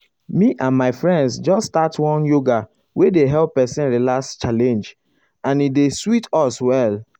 me and my friends just start one yoga wey dey help person relax challenge and e dey sweet us well.